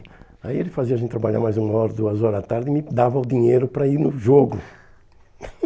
Aí ele fazia a gente trabalhar mais uma hora, duas horas à tarde e me dava o dinheiro para ir no jogo.